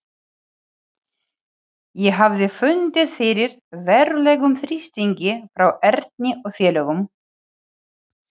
Ég hafði fundið fyrir verulegum þrýstingi frá Erni og félögum.